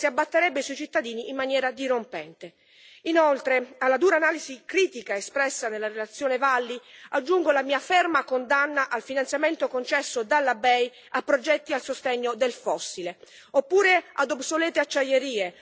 Inoltre, alla dura analisi critica espressa nella relazione Valli, aggiungo la mia ferma condanna al finanziamento concesso dalla BEI a progetti a sostegno del fossile, oppure a obsolete acciaierie o a mega infrastrutture inutili e dannose.